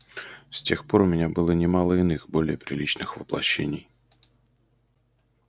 с тех пор у меня было немало иных более приличных воплощений